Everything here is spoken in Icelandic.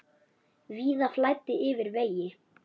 Víða flæddi yfir vegi.